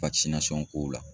kow la.